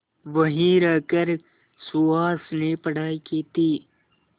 वहीं रहकर सुहास ने पढ़ाई की थी